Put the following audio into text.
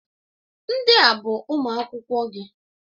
Ndị a bụ ụmụ akwụkwọ gị.